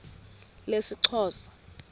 lesixhosa